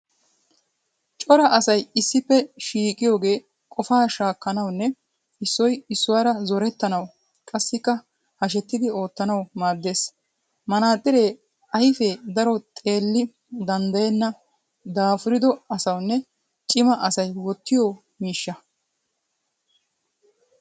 Cora asy issippe shiiqiyoogee qofaa shaakkanawunne issoy issuwara zorettanawu qassikka hashettidi oottanawu maaddes. Manaaxxiree ayifee daro xeelli danddayenna daafurido asawunne cima asay wottiyo miishsha.